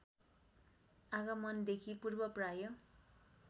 आगमनदेखि पूर्व प्राय